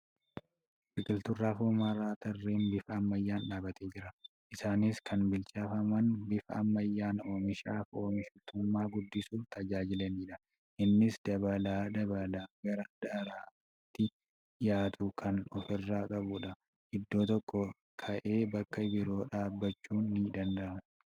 Biqiltuun raafuu maramaan tarreen bifa ammayyaan dhaabbatee jira. Isaaniis kan biqilchaman bifa ammayyaa oomishaaf oomishtummaa guddisuuf tajaajilaniidha. Innis baala babal'aa gara daaraattii dhiyaatu kan ofirraa qabuudha. Iddoo tokkoo ka'aee bakka biroo dhaabuun ni danda'ama.